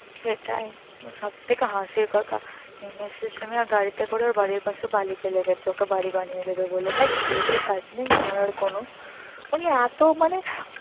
সেটাই সবথেকে হাসির কথা হিমেশ রেশমিয়া গাড়ি তে করে ওর বাড়ির পশে বালি ফলে গেছে ওকে বাড়ি বানিয়ে দেবে বলে ভাই খেয়ে দিয়ে কাজ নাই ওনার আর কোনো উনি এত মানে